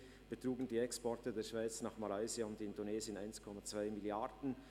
2017 betrugen die Exporte der Schweiz nach Malaysia und Indonesien 1,2 Mrd. Franken.